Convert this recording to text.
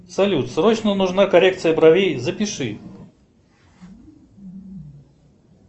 салют срочно нужна коррекция бровей запиши